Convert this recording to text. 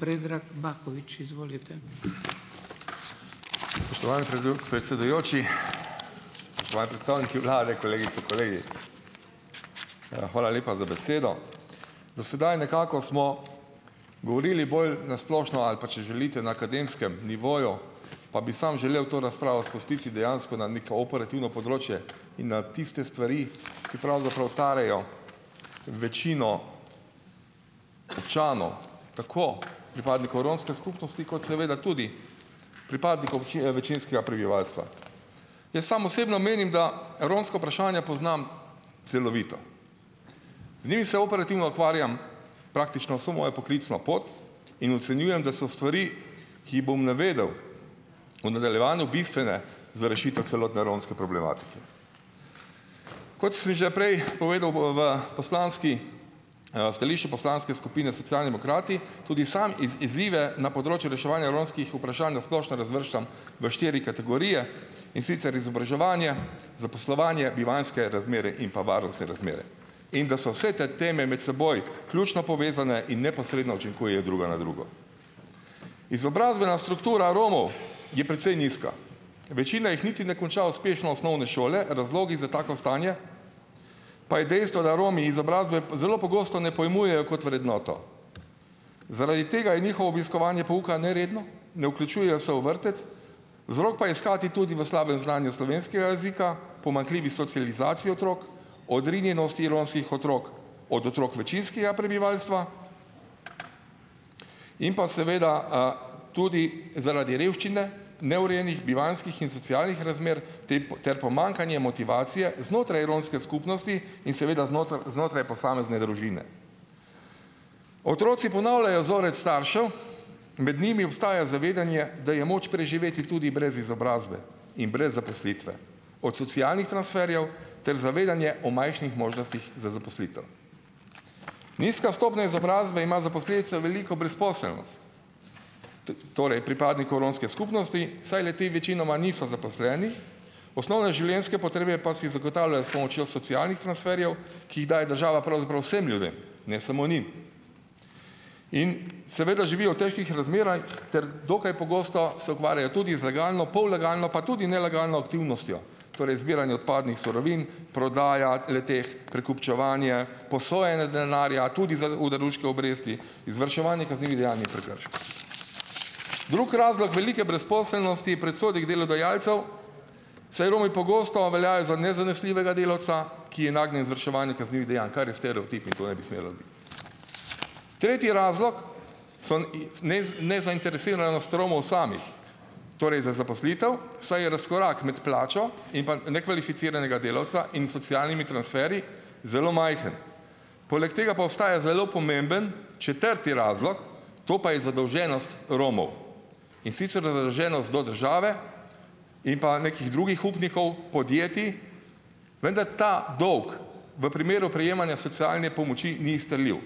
Spoštovani predsedujoči, spoštovani predstavniki vlade, kolegice, kolegi. Hvala lepa za besedo. Do sedaj nekako smo govorili bolj na splošno - ali pa, če želite, na akademskem nivoju - pa bi samo želel to razpravo spustiti dejansko na neko operativno področje in na tiste stvari, ki pravzaprav tarejo večino članov, tako pripadnikov romske skupnosti kot seveda tudi pripadnikov več večinskega prebivalstva. Jaz sam osebno menim, da romska vprašanja poznam celovito. Z njimi se operativno ukvarjam praktično vso mojo poklicno pot in ocenjujem, da so stvari, ki jih bom navedel v nadaljevanju, bistvene za rešitev celotne romske problematike. Kot sem že prej povedal, bo v poslanski, v stališču Poslanske skupine Socialdemokrati, tudi sam izzive na področju reševanja romskih vprašanj na splošno razvrščam v štiri kategorije, in sicer izobraževanje, zaposlovanje, bivanjske razmere in pa varnostne razmere. In da so vse te teme med seboj ključno povezane in neposredno učinkujejo druga na drugo. Izobrazbena struktura Romov je precej nizka. Večina jih niti ne konča uspešno osnovne šole, razlogi za tako stanje pa je dejstvo, da Romi izobrazbe zelo pogosto ne pojmujejo kot vrednoto. Zaradi tega je njihovo obiskovanje pouka neredno, ne vključujejo se v vrtec, vzrok pa je iskati tudi v slabem znanju slovenskega jezika, pomanjkljivi socializaciji otrok, odrinjenosti romskih otrok od otrok večinskega prebivalstva, in pa seveda tudi zaradi revščine, neurejenih bivanjskih in socialnih razmer tepi ter pomanjkanje motivacije znotraj romske skupnosti in seveda znotraj znotraj posamezne družine. Otroci ponavljajo vzorec staršev, med njimi obstaja zavedanje, da je moč preživeti tudi brez izobrazbe in brez zaposlitve. Od socialnih transferjev ter zavedanje o manjših možnostih za zaposlitev. Nizka stopnja izobrazbe ima za posledico veliko brezposelnost, torej pripadnikov romske skupnosti, saj le-ti večinoma niso zaposleni. Osnovne življenjske potrebe pa si zagotavljajo s pomočjo socialnih transferjev, ki jih daje država pravzaprav vsem ljudem, ne samo njim. In seveda živijo v težkih razmerah ter dokaj pogosto se ukvarjajo tudi z legalno, pollegalno pa tudi nelegalno aktivnostjo. Torej, zbiranje odpadnih surovin, prodaja le-teh, prekupčevanje, posojanje denarja, tudi za oderuške obresti, izvrševanje kaznivih dejanj in prekrški. Drug razlog velike brezposelnosti je predsodek delodajalcev, saj Romi pogosto veljajo za nezanesljivega delavca, ki je nagnjen izvrševanju kaznivih dejanj. Kar je stereotip, in to ne bi smelo biti. Tretji razlog so ic nezainteresiranost Romov samih. Torej, za zaposlitev, saj je razkorak med plačo in pa nekvalificiranega delavca in socialnimi transferji zelo majhen. Poleg tega pa obstaja zelo pomemben četrti razlog, to pa je zadolženost Romov. In sicer za zadolženost do države in pa nekih drugih upnikov, podjetij, vendar ta dolg v primeru prejemanja socialne pomoči ni izterljiv.